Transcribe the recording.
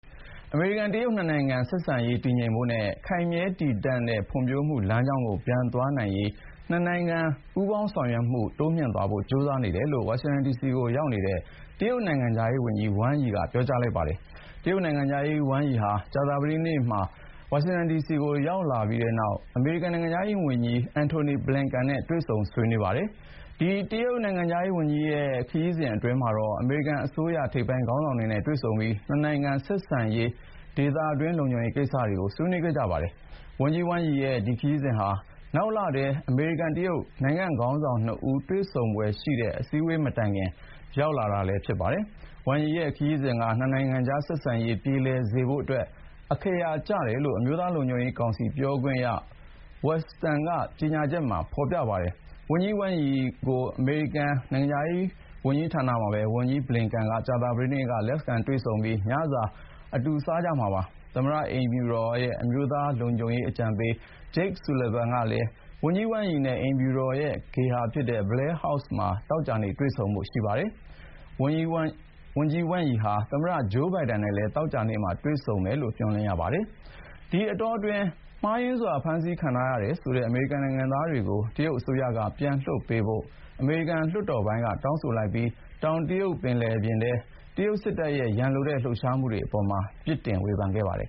အမေရိကန်-တရုတ် နှစ်နိုင်ငံဆက်ဆံရေးတည်ငြိမ်ဖို့နဲ့ ခိုင်မြဲတည်တံတဲ့ဖွံဖြိုးမှုလမ်းကြောင်းကို ပြန်သွားနိုင်ရေး နှစ်နိုင်ငံပူးပေါင်းဆောင်ရွက်မှု တိုးမြှင့်သွားဖို့ ကြိုးစားနေတယ်လို့ ဝါရှင်တန်ဒီစီကိုရောက်နေတဲ့ တရုတ်နိုင်ငံခြားရေးဝန်ကြီး Wang Yi က ပြောလိုက်ပါတယ်။ တရုတ်နိုင်ငံခြားရေးဝန်ကြီး Wang Yi ဟာ ကြာသပတေးနေ့မှာ ဝါရှင်တန်ဒီစီကို ရောက်လာပြီးနောက် အမေရိကန်နိုင်ငံခြားရေးဝန်ကြီး Antony Blinken နဲ့ တွေ့ဆုံဆွေးနွေးခဲ့ပါတယ်။ ဒီ တရုတ်နိုင်ငံခြားရေးဝန်ကြီးရဲ့ ဒီခရီးစဉ်အတွင်းမှာတော့ အမေရိကန်အစိုးရ ထိပ်ပိုင်းခေါင်းဆောင်တွေနဲ့ တွေ့ဆုံပြီး နှစ်နိုင်ငံဆက်ဆံရေးနဲ့ ဒေသတွင်း လုံခြုံရေးကိစ္စတွေကို ဆွေးနွေးခဲ့ကြပါတယ်။ ဝန်ကြီး Wang Yi ရဲ့ ဒီခရီးစဥ်ဟာ နောက်လထဲ အမေရိကန်-တရုတ် နိုင်ငံ့ခေါင်းဆောင် (၂) ဦး တွေ့ဆုံဖွယ်ရှိတဲ့ အစည်းအဝေး မတိုင်ခင် ရောက်လာတာပါ။ Wang Yi ရဲ့ ခရီးစဥ်က နှစ်နိုင်ငံကြား ဆက်ဆံရေးပြေလည်စေဖို့အတွက် အခရာ ကျတယ်လို့ အမျိုးသားလုံခြုံရေးကောင်စီ ပြောခွင့်ရ Adrienne Watson ရဲ့ ကြေညာချက်ထဲမှာ ဖေါ်ပြပါတယ်။ ဝန်ကြီး Wang Yi ကို အမေရိကန်နိုင်ငံခြားရေးဌာနမှာပဲ ဝန်ကြီး Antony Blinken က ကြာသပတေးနေ့ လက်ခံတွေ့ဆုံပြီး ညစာ အတူစားကြမှာပါ။ သမ္မတအိမ်ဖြူတော် အမျိုးသားလုံခြုံရေးအကြံပေး Jake Sullivan ကလည်း ဝန်ကြီး Wang Yi နဲ့ အိမ်ဖြူတော်ရဲ့ ဧည့်ဂေဟာ Blair House မှာ သောကြာနေ့ တွေ့ဆုံဖို့ ရှိပါတယ်။ ဝန်ကြီး Wang Yi ဟာ သမ္မတ Joe Biden နဲ့လည်း သောကြာနေ့မှာ တွေ့ဆုံမယ်လို့ မျှော်လင့်ရပါတယ်။ ဒီအတောတွင်း မှားယွင်းစွာ ဖမ်းဆီးခံထားရတယ်ဆိုတဲ့ အမေရိကန်နိုင်ငံသားတွေကို တရုတ်အစိုးရက ပြန်လွှတ်ပေးဖို့ အမေရိကန်လွှတ်တော်ပိုင်းက တောင်းဆိုလိုက်ပြီး တောင်တရုတ်ပင်လယ်ပြင်တွင်း တရုတ်စစ်တပ်ရဲ့ ရန်လိုတဲ့လှုပ်ရှားမှုအပေါ်မှာလည်း ပြစ်တင်ဝေဖန်ခဲ့ပါတယ်